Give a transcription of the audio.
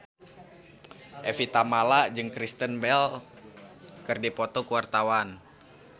Evie Tamala jeung Kristen Bell keur dipoto ku wartawan